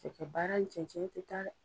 Cɛkɛ baara ni cɛncɛn tɛ taa dɛ.